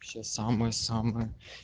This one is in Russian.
самая самая